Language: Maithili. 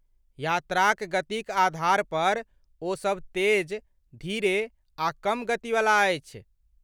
यात्राक गतिक आधारपर ओ सब तेज, धीरे, आ कम गतिवला अछि।